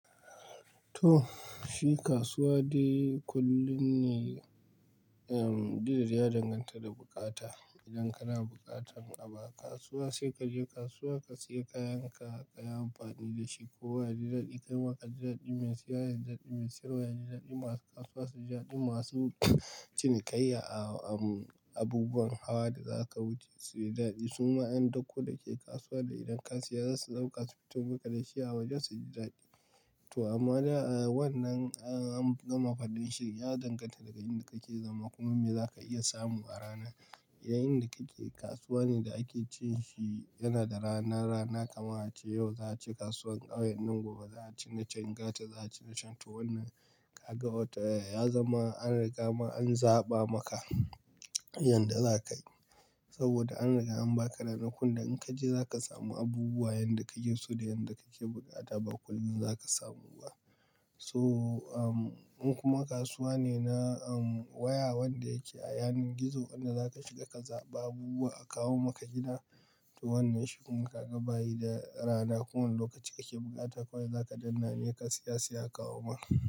To, shi kasuwa dai kullum ne, ehm, duk da dai ya danganta da bukata. Idan kana bukatan abu a kasuwa sai ka je kasuwa ka siya kayanka, ka yi amfani da shi. Kowa ya ji daɗi, kai ma ka ji daɗi mai siya ya, ji daɗi mai sayarwa, ya ji daɗi masu kasuwa, su ji daɗi masu cinikayya a, a, abubuwan hawa da za ka wuce su yi daɗi. Suma yan dako da ke kasuwa da idan ka siya za su ɗauka su fito maka da shi a waje su ji daɗi. To amma da, a, wannan an gama faɗin shi, ya danganta da garin da kake zama kuma me za ka iya samu a rana. Yayinda kake kasuwa ne da ake cin shi yana da rana, rana kamar a ce yau za a ci kasuwar ƙauyen nan, gobe za a ci na can gata, za a ci na can to. Wannan ka ga wata, ya zama an riga ma an zaɓa maka inda za ka yi. Saboda an riga an ba ka ranakun da in ka je za ka samu abubuwa yanda ka ke so da yanda kake bukata ba kullum za ka samu ba. So, um, in kuma kasuwa ne na, um, waya wanda yake a yanin gizo wanda za ka shiga ka zaɓa abubuwa a kawo maka gida. To wannan shi kuma ka ga bayi da rana. Kowane lokaci kake bukata kawai za ka danna nai ka siya, sai a kawo ma.